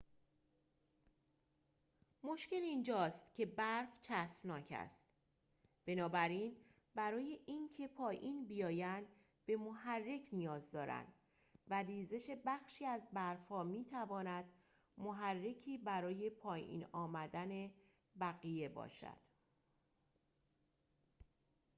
مشکل اینجاست که برف چسبناک است بنابراین برای اینکه پایین بیایند به محرک نیاز دارند و ریزش بخشی از برف‌ها می‌تواند محرکی برای پایین آمدن بقیه باشد